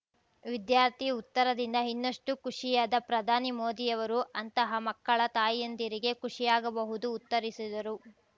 ವಿದ್ಯಾರ್ಥಿ ಉತ್ತರದಿಂದ ಇನ್ನಷ್ಟು ಖುಷಿಯಾದ ಪ್ರಧಾನಿ ಮೋದಿಯವರು ಅಂತಹ ಮಕ್ಕಳ ತಾಯಿಂದಿರಿಗೆ ಖುಷಿಯಾಗಬಹುದು ಉತ್ತರಿಸಿದರು